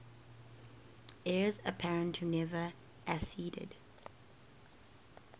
heirs apparent who never acceded